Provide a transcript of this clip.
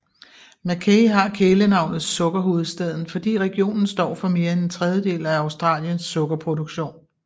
Mackay har kælenavnet sukkerhovedstaden fordi regionen står for mere end en trediedel af australiens sukkerproduktion